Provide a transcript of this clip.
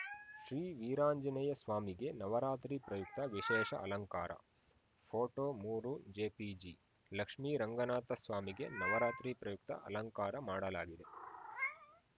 ಶ್ರೀ ವೀರಾಂಜನೇಯಸ್ವಾಮಿಗೆ ನವರಾತ್ರಿ ಪ್ರಯುಕ್ತ ವಿಶೇಷ ಅಲಂಕಾರ ಫೋಟೋ ಮೂರು ಜೆಪಿಜಿ ಲಕ್ಷ್ಮೀರಂಗನಾಥಸ್ವಾಮಿಗೆ ನವರಾತ್ರಿ ಪ್ರಯುಕ್ತ ಅಲಂಕಾರ ಮಾಡಲಾಗಿದೆ